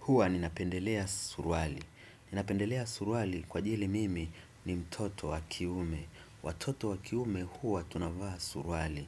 Hua ninapendelea suruali. Ninapendelea suruali kwa ajili mimi ni mtoto wa kiume. Watoto wa kiume huwa tunavaa suruali.